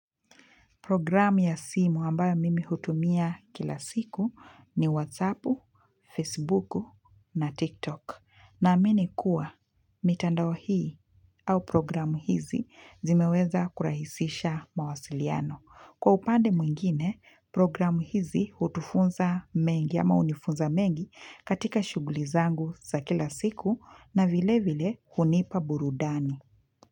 Programu ya simu ambayo mimi hutumia kila siku ni whatsapp, facebook na tiktok. Naamini kuwa, mitandao hii au programu hizi zimeweza kurahisisha mawasiliano. Kwa upande mwingine, programu hizi hutufunza mengi ama unifunza mengi katika shugulizangu za kila siku na vile vile hunipa burudani.